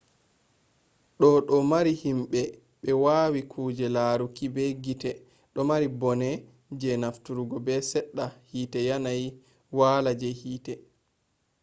do do mari himbe be wawai kuje laruki be gite domari bone je nafturgo ha sedda hite yanayi wala je hite